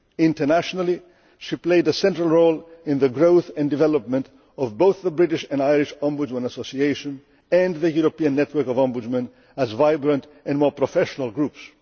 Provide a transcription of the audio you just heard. Internationally, she played a central role in the growth and development of both the British and Irish Ombudsmen Association and the European Network of Ombudsmen as vibrant and more professional groups.